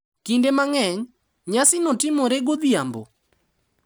Kinde mang’eny, nyasino timore godhiambo,